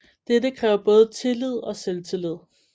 Dette kræver både tillid og selvtillid